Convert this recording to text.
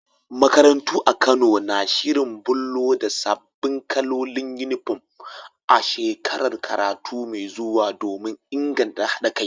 Makarantu a Kano na shirin bullo da sabbin kalolin Uniform a shekarar karatu mai zuwa domin inganta haɗa kai.